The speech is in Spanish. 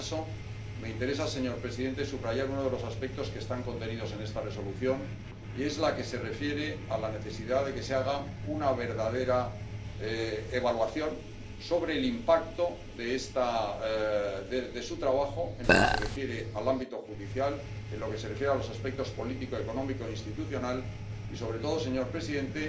En todo caso, me interesa, señor presidente, subrayar uno de los aspectos que están contenidos en esta Resolución, y es el que se refiere a la necesidad de que se haga una verdadera evaluación sobre el impacto de su trabajo en lo que se refiere al ámbito judicial, en lo que se refiere a los aspectos político, económico e institucional, y, sobre todo, señor presidente,